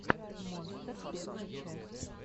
монстер первая часть